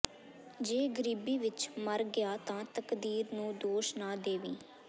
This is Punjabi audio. ਜੇ ਗ਼ਰੀਬੀ ਵਿਚ ਮਰ ਗਿਆ ਤਾ ਤਕਦੀਰ ਨੂੰ ਦੋਸ਼ ਨਾ ਦੇਵੀਂ